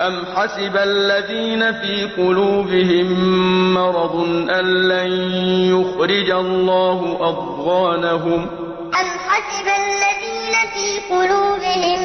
أَمْ حَسِبَ الَّذِينَ فِي قُلُوبِهِم مَّرَضٌ أَن لَّن يُخْرِجَ اللَّهُ أَضْغَانَهُمْ أَمْ حَسِبَ الَّذِينَ فِي قُلُوبِهِم